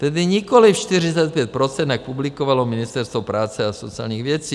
Tedy nikoliv 45 %, jak publikovalo Ministerstvo práce a sociálních věcí.